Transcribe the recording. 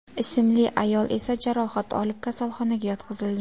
ismli ayol esa jarohat olib kasalxonaga yotqizilgan.